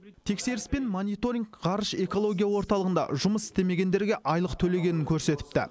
тексеріс пен мониторинг ғарыш экология орталығында жұмыс істемегендерге айлық төленгенін көрсетіпті